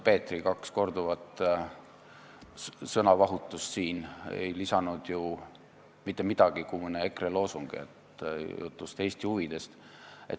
Peetri kaks sõnavahutust ei andnud ju mitte midagi muud kui mõne EKRE loosungi, et jutt on Eesti huvidest.